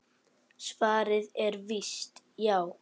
Svarið er víst já.